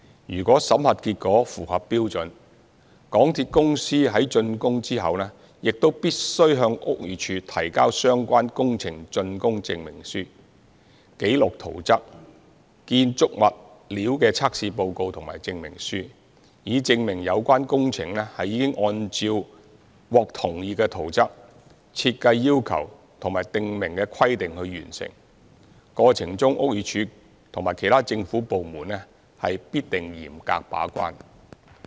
如果審核結果符合標準，港鐵公司於竣工後亦必須向屋宇署提交相關工程竣工證明書、紀錄圖則、建築物料的測試報告和證明書，以證明有關工程已按照獲同意的圖則、設計要求及訂明的規定完成，過程中屋宇署及其他政府部門必定嚴格把關。